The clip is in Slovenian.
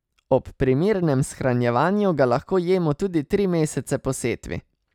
Ob primernem shranjevanju ga lahko jemo tudi tri mesece po setvi.